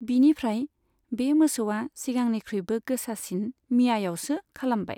बिनिफ्राय बे मोसौआ सिगांनिख्रुइबो गोसासिन 'मियायावव'सो खालामबाय।